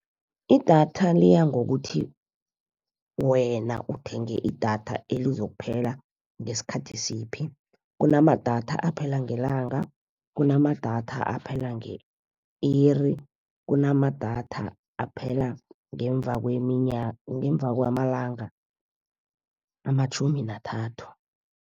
Idatha liyangokuthi wena uthenge idatha elizokuphela ngesikhathi siphi, kunamadatha aphela ngelanga, kunamadatha aphela nge-iri, kunamadatha aphela ngemva kwamalanga amatjhumi nathathu.